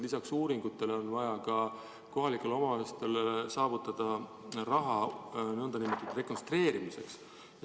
Lisaks uuringutele on vaja raha ka kohalikele omavalitsustele nn rekonstrueerimiseks.